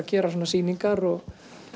gera svona sýningar og